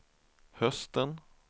hösten